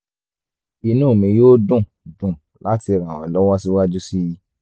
inú mi yóò dùn dùn láti ràn ọ́ lọ́wọ́ síwájú sí i